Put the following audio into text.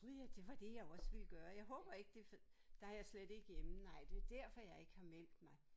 Gud ja! Det var det jeg også ville gøre jeg håber ikke det for der er jeg slet ikke hjemme nej det derfor jeg ikke har meldt mig